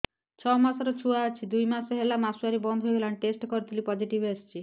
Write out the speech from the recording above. ଛଅ ମାସର ଛୁଆ ଅଛି ଦୁଇ ମାସ ହେଲା ମାସୁଆରି ବନ୍ଦ ହେଇଗଲାଣି ଟେଷ୍ଟ କରିଥିଲି ପୋଜିଟିଭ ଆସିଛି